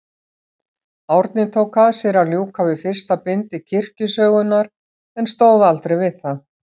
Árni tók að sér að ljúka við fyrsta bindi kirkjusögunnar, en stóð aldrei við það.